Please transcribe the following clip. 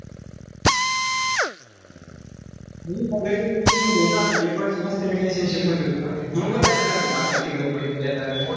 एक वर्ष मस्त relationship मध्ये होतो. भेटायला.